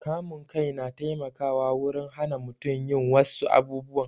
Kamun kai na taimakawa wurin hana mutum yin wassu abubuwan